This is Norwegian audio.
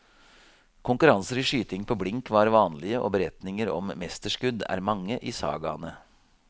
Konkurranser i skyting på blink var vanlige, og beretninger om mesterskudd er mange i sagaene.